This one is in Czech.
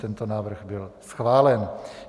Tento návrh byl schválen.